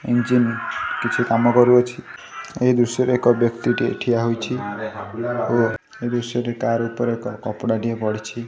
Engine କିଛି କାମ କରୁଅଛି ଏହି ଦୃଶ୍ୟ ରେ ଏକ ବ୍ୟକ୍ତି ଟିଏ ଠିଆ ହୋଇଛି ଓ ଦୃଶ୍ୟ ଟି ତାହାରି ଉପରେ କପଡା ଟିଏ ପଡ଼ିଛି।